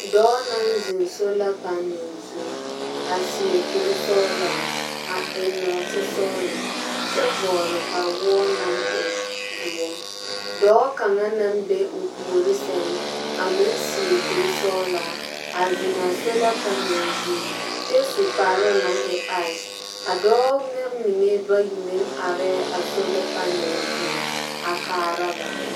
Dɔɔ naŋ zeŋ solapanɛl zu a seɛ kursɔɔla, a eŋ nɔɔtesɔɔlɔ kyɛ vɔɔle kpawoɔ naŋ e doɔŋ. Dɔɔ kaŋa naŋ be o puori sɛŋ a meŋ seɛ kursɔɔla a zeŋ'a solapanɛl zu kyɛ su kparoo naŋ e aase. A dɔɔ mɛ mine bayi meŋ arɛɛ a solapanɛl zu a kaara ba.